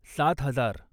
सात हजार